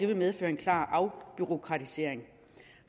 vil medføre en klar afbureaukratisering